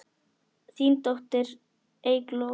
Þín dóttir, Eygló.